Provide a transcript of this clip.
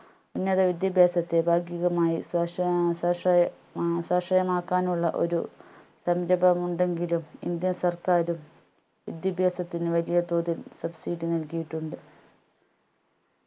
ഉന്നത വിദ്യാഭ്യാസത്തെ ഭാഗീകമായി സ്വാശ സ്വാശ്രയ മാ സ്വാശ്രയമാകാനുള്ള ഒരു സംരഭമുണ്ടെങ്കിലും indian സർക്കാരും വിദ്യാഭ്യാസത്തിന് വലിയതോതിൽ subsidy നൽകിയിട്ടുണ്ട്